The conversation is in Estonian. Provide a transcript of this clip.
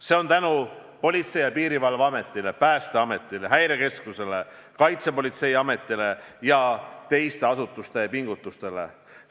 See on nii tänu Politsei- ja Piirivalveameti, Päästeameti, Häirekeskuse, Kaitsepolitseiameti ja teiste asutuste pingutustele.